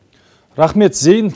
рахмет зейін